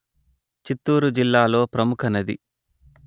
చిత్తూరు జిల్లాలో ప్రముఖ నది